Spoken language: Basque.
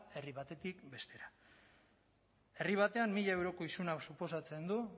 herri batetik bestera herri batean mila euroko isuna suposatzen du